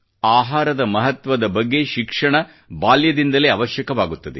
ಆಹಾರದ ಮಹತ್ವದ ಬಗ್ಗೆ ಶಿಕ್ಷಣವು ಬಾಲ್ಯದಿಂದಲೇ ಅವಶ್ಯಕವಾಗುತ್ತದೆ